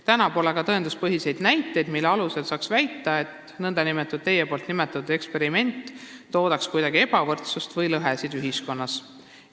Täna pole aga tõenduspõhiseid näiteid, mille alusel saaks väita, et teie nimetatud nn eksperiment toodaks kuidagi ebavõrdsust või lõhesid ühiskonnas.